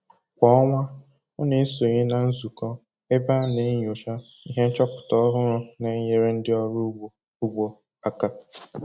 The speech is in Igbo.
Kwa ọnwa ọ na-esonye na nzụkọ ebe a na-enyocha ihe nchọpụta ọhụrụ na-enyere ndị ọrụ ugbo ugbo aka